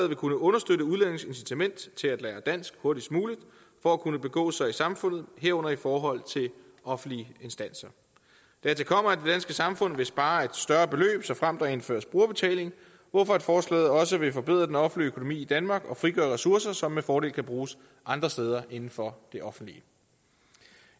vil kunne understøtte udlændinges incitament til at lære dansk hurtigst muligt for at kunne begå sig i samfundet herunder i forhold til offentlige instanser dertil kommer at det samfund vil spare et større beløb såfremt der indføres brugerbetaling hvorfor forslaget også vil forbedre den offentlige økonomi i danmark og frigøre ressourcer som med fordel kan bruges andre steder inden for det offentlige